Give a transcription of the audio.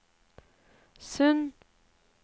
Sund